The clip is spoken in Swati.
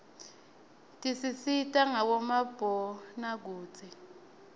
tisisita ngabomabonakudze